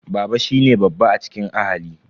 Baba shine babba a cikin ahali.